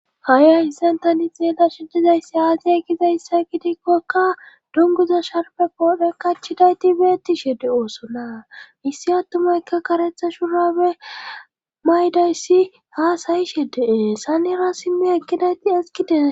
Ha'i hayssentani xeela shidizayssi aasiy gizayssa gidikkokka dunguza sharbe poodhen kachidayti beettishe de oosona issi attumaykka karetha shurabe maydayssi haasayishe dee sanera simmi ekkidayti eskidees